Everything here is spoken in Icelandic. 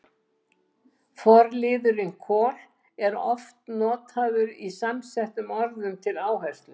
Forliðurinn kol- er oft notaður í samsettum orðum til áherslu.